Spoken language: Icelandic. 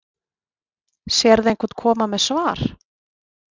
Sérðu einhvern koma með svar